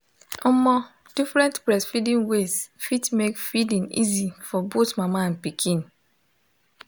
omo different breastfeeding ways fit make feeding easy for both mama and pikin